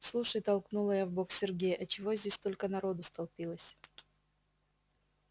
слушай толкнула я в бок сергея а чего здесь столько народу столпилось